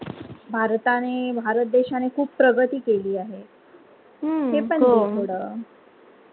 भारताने भारत देशाने खूप प्रगती केली आहे.